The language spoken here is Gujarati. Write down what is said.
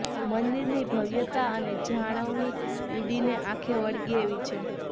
મંદિરની ભવ્યતા અને જાણવણી ઉડીને આંખે વળગે એવી છે